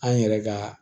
An yɛrɛ ka